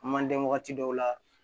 Manden waati dɔw la